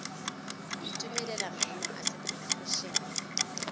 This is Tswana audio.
itumelela maemo a seporofe ene